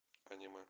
аниме